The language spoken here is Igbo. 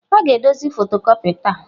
A ga-edozi fotocopia taa.